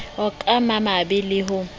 ka ba mabe le ho